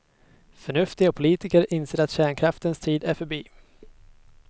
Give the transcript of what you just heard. Förnuftiga politiker inser att kärnkraftens tid är förbi.